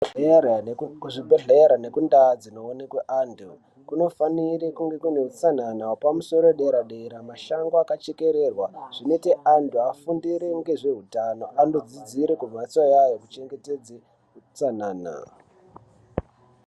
Kuzvibhedhlera nekundaa dzinoonekwe anthu kunofanira kunge kune utsanana hwepamusoro uedera dera mashango akachekererwa zvinoite anthu afundire ngezveutano andodzidzire kumbatsoya yekuchengetedze utsanana.